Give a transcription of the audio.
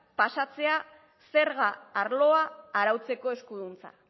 pasatzea zerga arloa arautzeko eskuduntza